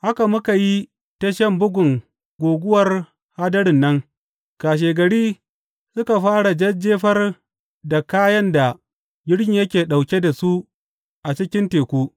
Haka muka yi ta shan bugun guguwar hadarin nan kashegari suka fara jajjefar da kayan da jirgin yake ɗauke da su a cikin teku.